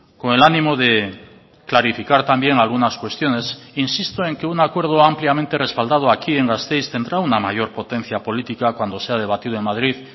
con el ánimo de clarificar también algunas cuestiones insisto en que un acuerdo ampliamente respaldado aquí en gasteiz tendrá una mayor potencia política cuando sea debatido en madrid